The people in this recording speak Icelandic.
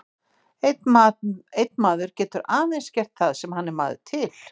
Einn maður getur aðeins gert það sem hann er maður til.